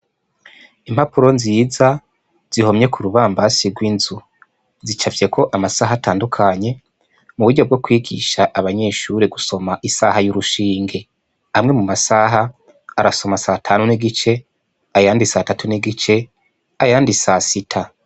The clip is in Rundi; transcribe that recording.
Impapuro nziza zihomye kurubambasi rwinzu zicafyeko amasaha atandukanye muburyo bwokwigisha abanyeshure gusoma isaha yurushinge amwe mu masaha arasoma satanu n'igice, ayandi satatu n'igice, ayandi sasita.